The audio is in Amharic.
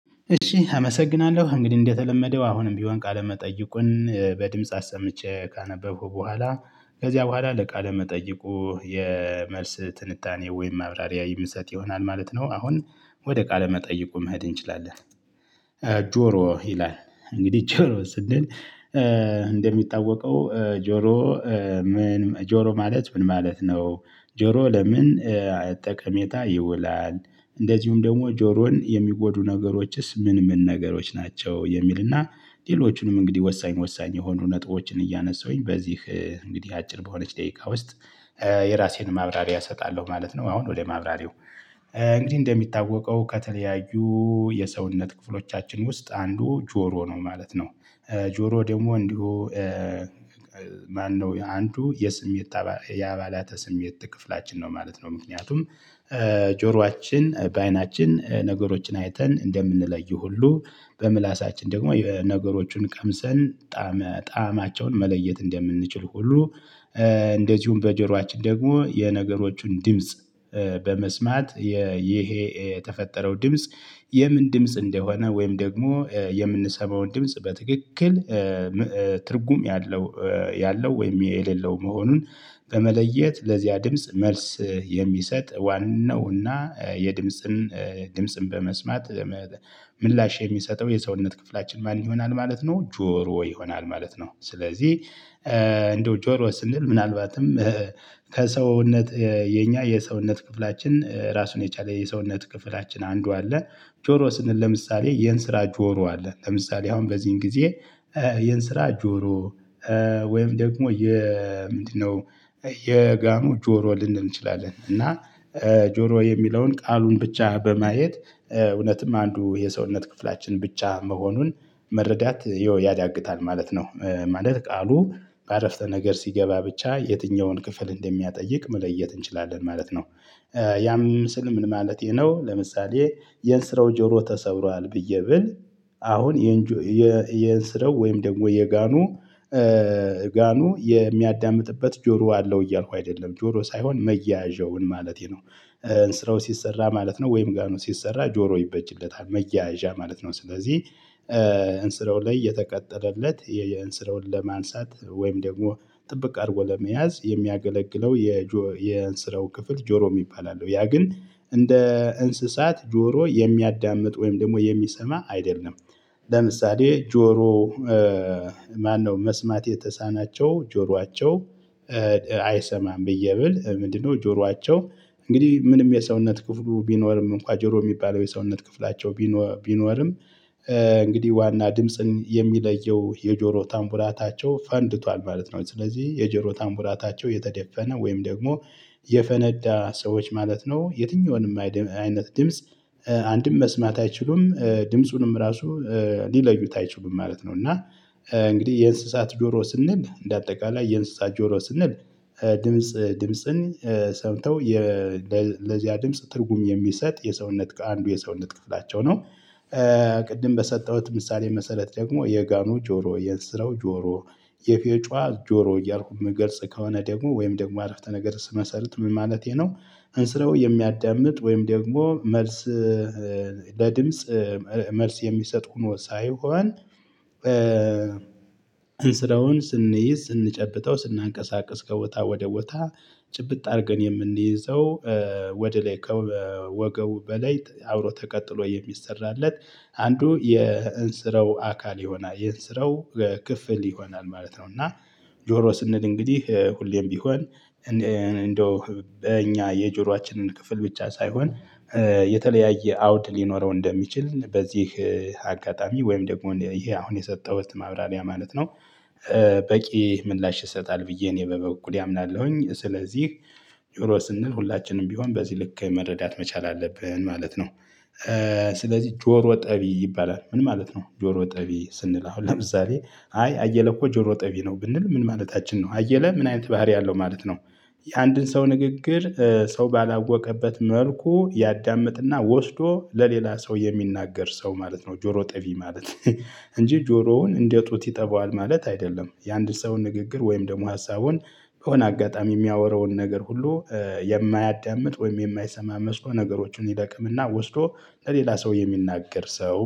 እሺ አመሰግናለሁ እንግዲህ እንደተለመደው አሁንም ቢሆን ቃለ መጠይቁን በድምጽ አሰምቼ ካነበብኩ በኋላ ከዚያ በኋላ ለቃለ መጠይቁ የመልስ ትንታኔ ወይም ማብራሪያ ይመስለት ይሆናል ማለት ነው። አሁን ወደ ቃለ መጠይቁ መሄድ እንችላለን። ጆሮ ይላል። እንግዲህ ጆሮ ስንል እንደሚጠዋወቀው ጆሮ። ምን ጆሮ ማለት ምን ማለት ነው? ጆሮ ለምን ጠቀሜታ ይውላል። እንደዚሁም ደግሞ ጆሮን የሚጎዱ ነገሮችስ ምን ምን ነገሮች ናቸው? የሚልና ሌሎቹንም እንግዲህ ወሳኝ ወሳኝ የሆኑ ነጥቦችን እያነሳሁኝ በዚህ እንግዲህ አጭር በሆነች ደቂቃ ውስጥ። የራሴን ማብራሪያ እሰጣለሁ ማለት ነው። አሁን ወደ ማብራሪያው እንግዲህ እንደሚታወቀው ከተለያዩ የሰውነት ክፍሎቻችን ውስጥ አንዱ ጆሮ ነው ማለት ነው። ጆሮ ደግሞ እንዲሁ ማነው የአንዱ የስሜት የአባላተ ስሜት ክፍላችን ነው ማለት ነው። ምክንያቱም ጆሮአችን በአይናችን ነገሮችን አይተን እንደምንለይ ሁሉ በምላሳችን ደግሞ ነገሮቹን ቀምሰን ጣዕማቸውን መለየት እንደምንችል ሁሉ። እንደዚሁም በጀሮአችን ደግሞ የነገሮቹን ድምጽ በመስማት ይሄ የተፈጠረው ድምጽ የምን ድምጽ እንደሆነ ወይም ደግሞ የምንሰማውን ድምጽ በትክክል ትርጉም ያለው ወይም የሌለው መሆኑን። በመለየት ለዚያ ድምጽ መልስ የሚሰጥ ዋናውና የድምጽን ድምጽን በመስማት ምላሽ የሚሰጠው የሰውነት ክፍላችን ማን ይሆናል ማለት ነው ጆሮ ይሆናል ማለት ነው። ስለዚህ እንደው ጆሮ ስንል ምናልባትም ከሰውነት የኛ የሰውነት ክፍላችን ራሱን የቻለ የሰውነት ክፍላችን አንዱ አለ። ጆሮ ስንል ለምሳሌ የን ስራ ጆሮ አለ ለምሳሌ አሁን በዚህን ጊዜ የን ስራ ጆሮ። ወይም ደግሞ የ ምንድነው የጋኑ ጆሮ ልንል እንችላለን። እና ጆሮ የሚለውን ቃሉን ብቻ በማየት እውነትም አንዱ የሰውነት ክፍላችን ብቻ መሆኑን መረዳት ያዳግታል ማለት ነው። ማለት ቃሉ በአረፍተ ነገር ሲገባ ብቻ የትኛውን ክፍል እንደሚያጠይቅ መለየት እንችላለን ማለት ነው። ያ ምን ምስል ምን ማለቴ ነው? ለምሳሌ የንስረው ጆሮ ተሰብሯል ብዬ ብል አሁን የንስረው ወይም ደግሞ የጋኑ ጋኑ የሚያዳምጥበት ጆሮ አለው እያልኩ አይደለም ጆሮ ሳይሆን መያዣውን ማለቴ ነው። እንስራው ሲሰራ ማለት ነው ወይም ጋር ነው ሲሰራ ጆሮ ይበጅለታል መያዣ ማለት ነው። ስለዚህ እንስረው ላይ የተቀጠለለት የእንስረውን ለማንሳት ወይም ደግሞ ጥብቅ አድርጎ ለመያዝ የሚያገለግለው የእንስረው ክፍል ጆሮ የሚባል አለው ያ ግን እንደ እንስሳት ጆሮ የሚያዳምጥ ወይም ደግሞ የሚሰማ አይደለም። ለምሳሌ ጆሮ ማነው መስማት የተሳናቸው ጆሯቸው አይሰማም ብዬ ብል ምንድነው ጆሯቸው እንግዲህ ምንም የሰውነት ክፍሉ ቢኖርም እንኳን ጆሮ የሚባለው የሰውነት ክፍላቸው ቢኖርም። እንግዲህ ዋና ድምጽን የሚለየው የጆሮ ታምቡራታቸው ፈንድቷል ማለት ነው። ስለዚህ የጆሮ ታምቡራታቸው የተደፈነ ወይም ደግሞ የፈነዳ ሰዎች ማለት ነው የትኛውንም አይነት ድምጽ አንድም መስማት አይችሉም ድምጹንም ራሱ ሊለዩት አይችሉም ማለት ነው። እና እንግዲህ የእንስሳት ጆሮ ስንል እንደ አጠቃላይ የእንስሳት ጆሮ ስንል ድምጽ ድምጽን ሰምተው ለዚያ ድምጽ ትርጉም የሚሰጥ የሰውነት አንዱ የሰውነት ክፍላቸው ነው። ቅድም በሰጠሁት ምሳሌ መሰረት ደግሞ የጋኑ ጆሮ የንስረው ጆሮ የፌጫ ጆሮ እያልኩ መገልጽ ከሆነ ደግሞ ወይም ደግሞ አረፍተ ነገር ስመሰርት ምን ማለቴ ነው? እንስረው የሚያዳምጥ ወይም ደግሞ መልስ ለድምጽ መልስ የሚሰጥ ሆኖ ሳይሆን ስራውን ስንይዝ ስንጨብጠው ስናንቀሳቅስ ከወጣ ወደ ወጣ ጭብጥ አድርገን የምንይዘው ወደ ላይ ወገው በላይ አብሮ ተቀጥሎ የሚሰራለት አንዱ የእንስረው አካል ይሆናል የእንስረው ክፍል ይሆናል ማለት ነው። እና ጆሮ ስንል እንግዲህ ሁሌም ቢሆን እንደው በእኛ የጆሮአችንን ክፍል ብቻ ሳይሆን የተለያየ አውድ ሊኖረው እንደሚችል በዚህ አጋጣሚ ወይም ደግሞ ይሄ አሁን የሰጠሁት ማብራሪያ ማለት ነው። በቂ ምላሽ ይሰጣል ብዬ እኔ በበኩሌ አምናለሁኝ ስለዚህ ጆሮ ስንል ሁላችንም ቢሆን በዚህ ልክ መረዳት መቻል አለብህን ማለት ነው። ስለዚህ ጆሮ ጠቢ ይባላል ምን ማለት ነው? ጆሮ ጠቢ ስንል አሁን ለብዛሬ አይ አየለ እኮ ጆሮ ጠቢ ነው ብንል ምን ማለታችን ነው አየለ ምን አይነት ባህሪ አለው ማለት ነው? የአንድን ሰው ንግግር ሰው ባላወቀበት መልኩ ያዳምጥና ወስዶ ለሌላ ሰው የሚናገር ሰው ማለት ነው ጆሮ ጠቢ ማለት። እንጂ ጆሮውን እንደ ጡት ይጠባዋል ማለት አይደለም። የአንድ ሰው ንግግር ወይም ደግሞ ሀሳቡን ከሆነ አጋጣሚ የሚያወራውን ነገር ሁሉ የማያዳምጥ ወይም የማይሰማ መስኮ ነገሮችን ይደቅምና ወስዶ ለሌላ ሰው የሚናገር ሰው